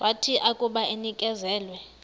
wathi akuba enikezelwe